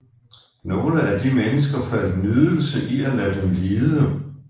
Nogle af de mennesker fandt nydelse i at lade dem lide